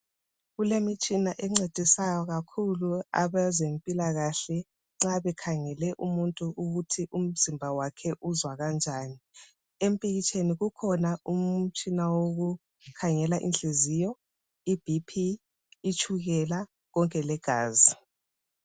Kulemitshina encedisayo kakhulu abezempilakahle nxa bekhangele umuntu ukuthi umzimba wakhe uzwa kanjani. Empikitsheni kukhona umtshina wokukhangela inhliziyo, iBP ,itshukela konke legazi.